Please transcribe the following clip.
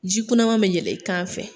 Ji kunnama bɛ jɛlɛ i kan fɛ.